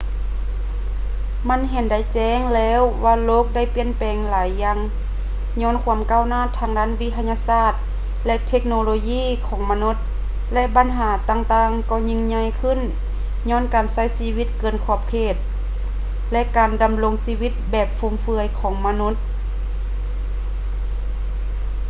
ມັນເຫັນໄດ້ແຈ້ງແລ້ວວ່າໂລກໄດ້ປ່ຽນແປງຫຼາຍຢ່າງຍ້ອນຄວາມກ້າວໜ້າທາງດ້ານວິທະຍາສາດ ແລະ ເທັກໂນໂລຢີຂອງມະນຸດ ແລະ ບັນຫາຕ່າງໆກໍຍິ່ງໃຫຍ່ຂຶ້ນຍ້ອນການໃຊ້ຊີວິດເກີນຂອບເຂດ ແລະ ການດຳລົງຊີວິດແບບຟຸມເຟືອຍຂອງມະນຸດ